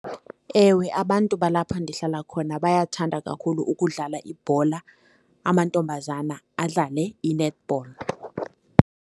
Ewe, abantu balapho ndihlala khona bayathanda kakhulu ukudlala ibhola, amantombazana adlale i-netball.